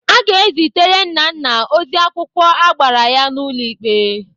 Aga ezitere Nnanna ozi akwụkwọ agbara ya n'ụlọ ikpe.